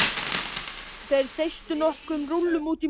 Þeir þeystu nokkrum rúllum útí móa.